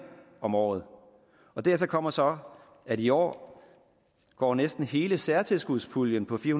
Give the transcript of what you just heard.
om året dertil kommer så at i år går næsten hele særtilskudspuljen på fire